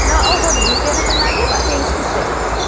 না ও sorry Indian -এর টায় না গিয়ে পাশে এইচ.পি -এর টায় চলে যায়।